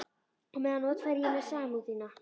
Og á meðan notfæri ég mér samúð þína.